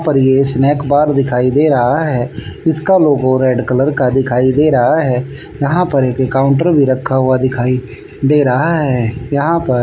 पर ये snack bar दिखाई दे रहा है इसका लोगो रेड कलर का दिखाई दे रहा है यहां पर एक काउंटर भी रखा हुआ दिखाई दे रहा है यहां पर--